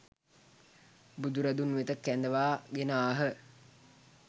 බුදුරදුන් වෙත කැඳවා ගෙන ආහ.